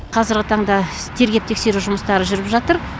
қазіргі таңда тергеп тексеру жұмыстары жүріп жатыр